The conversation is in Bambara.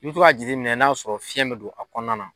I be to k'a jateminɛ n'a sɔrɔ fiɲɛ be don a kɔnɔna na